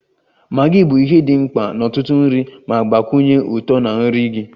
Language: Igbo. Maggi bụ ihe dị mkpa n'ọtụtụ nri ma gbakwunye ụtọ na nri gị.